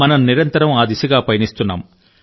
మనం నిరంతరం ఆ దిశగా పయనిస్తున్నాము